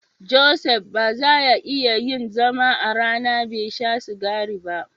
Joseph ba za ya iya yin zama a rana bai sha sigari ba.